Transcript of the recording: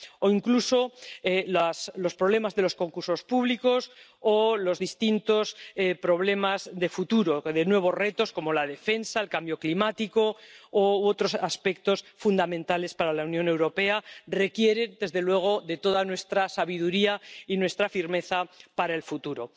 o incluso los problemas de los concursos públicos o los distintos problemas del futuro, de nuevos retos como la defensa, el cambio climático u otros aspectos fundamentales para la Unión Europea, que requieren, desde luego, de toda nuestra sabiduría y nuestra firmeza para el futuro.